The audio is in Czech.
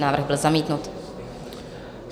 Návrh byl zamítnut.